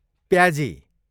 प्याजी